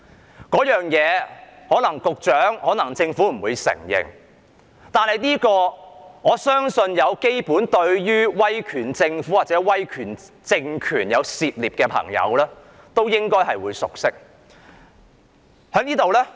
這個理念可能不為局長和政府所承認，但我相信對於威權政府或威權政權有基本涉獵的朋友都應該會熟悉。